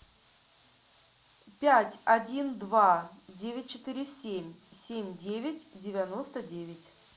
пять один два девять четыре семь семь девять девяносто девять